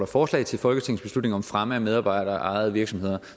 forslag til folketingsbeslutning om fremme af medarbejderejede virksomheder